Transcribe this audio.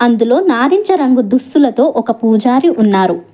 అందులో నారింజరంగు దుస్తులతో ఒక పూజారి ఉన్నారు.